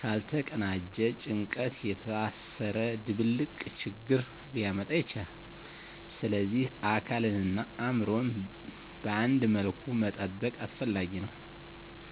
ካልተቀናጀ ጭንቀት የታሰረ ድብልቅ ችግር ሊያመጣ ይችላል፣ ስለዚህ አካልንና አእምሮን በአንድ መልኩ መጠበቅ አስፈላጊ ነው።